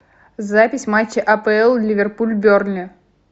запись матча апл ливерпуль бернли